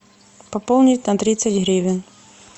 пополнить на тридцать гривен